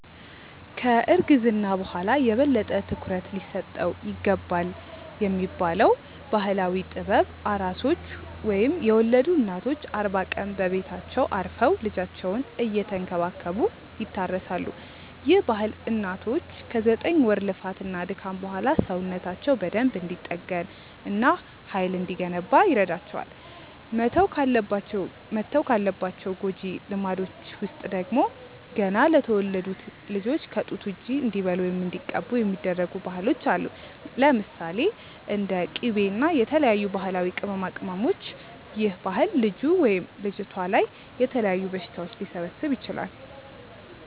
ከ እርግዝና በኋላ የበለጠ ትኩረት ሊሰጠው ይገባልብ የሚባለው ባህላዊ ጥበብ፤ ኣራሶች ወይም የወለዱ እናቶች አርባ ቀን በቤታቸው አርፈው ልጃቸውን እየተንከባከቡ ይታረሳሉ፤ ይህ ባህል እናቶች ከ ዘጠኝ ወር ልፋት እና ድካም በኋላ ሰውነታቸው በደንብ እንዲጠገን እና ሃይል እንዲገነባ ይረዳቸዋል። መተው ካለባቸው ጎጂ ልማዶች ውስጥ ደግሞ፤ ገና ለተወለዱት ልጆች ከ ጡት ውጪ እንዲበሉ ወይም እንዲቀቡ የሚደረጉ ባህሎች አሉ። ለምሳሌ፦ እንደ ቂቤ እና የተለያዩ ባህላዊ ቅመማቅመሞች ይህ ባህል ልጁ/ልጅቷ ላይ የተለያዩ በሽታዎች ሊሰበስብ ይችላል